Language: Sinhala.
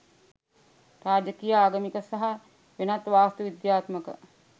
රාජකීය ආගමික සහ වෙනත් වාස්තු විද්‍යාත්මක